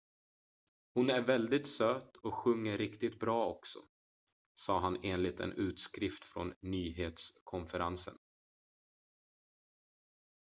"""hon är väldigt söt och sjunger riktigt bra också" sa han enligt en utskrift från nyhetskonferensen.